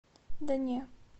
да не